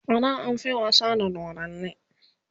ada an fi wasa da dodanni